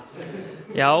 já